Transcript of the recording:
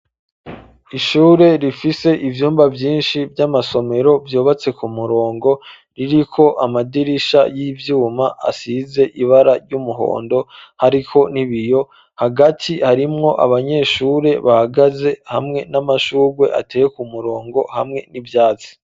Ishure rifise ibyumba vyinshi vy'amasomero vyubatse ku murongo riri ko amadirisha y'ivyuma asize ibara ry'umuhondo hariko n'ibiyo hagati harimwo abanyeshure bahagaze hamwe n'amashurwe ateye ku murongo hamwe n'ivyatsi.